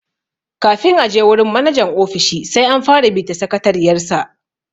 Kafin a je wurin manajan ofishi sai an fara bi ta sakatariyar sa.